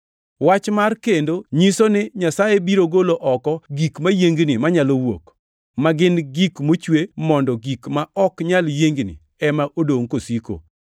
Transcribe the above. Wach mar “kendo” nyiso ni Nyasaye biro golo oko gik mayiengni manyalo wuok, ma gin gik mochwe mondo gik ma ok nyal yiengni ema odongʼ kosiko.